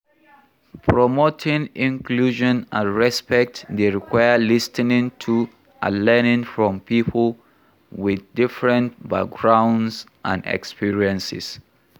Promoting inclusion and respect dey require lis ten ing to and learning from people with different backgrounds and experiences.